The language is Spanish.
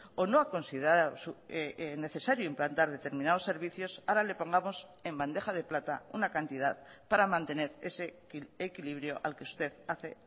o no ha considerado necesario implantar determinados servicios ahora le pongamos en bandeja de plata una cantidad para mantener ese equilibrio al que usted hace